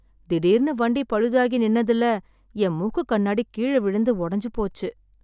திடீர்னு வண்டி பழுதாகி நின்னதுல என் மூக்குக் கண்ணாடி கீழ விழுந்து உடைஞ்சு போச்சு.